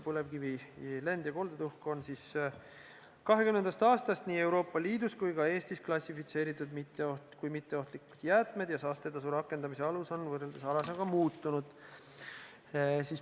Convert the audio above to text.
Põlevkivi lend- ja koldetuhk on 2020. aastast nii Euroopa Liidus kui ka Eestis klassifitseeritud kui mitteohtlikud jäätmed ja saastetasu rakendamise alus on võrreldes varasemaga muutunud.